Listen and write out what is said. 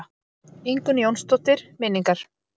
Ingunn Jónsdóttir: Minningar.